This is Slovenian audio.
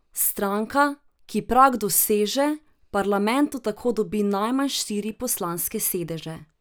Stranka, ki prag doseže, v parlamentu tako dobi najmanj štiri poslanske sedeže.